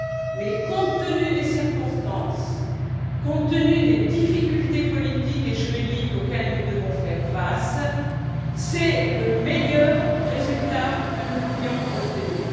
Mais, compte tenu des circonstances, compte tenu des difficultés politiques et juridiques auxquelles nous devons faire face, c'est le meilleur résultat que nous pouvions obtenir.